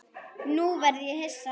Nú verð ég hissa.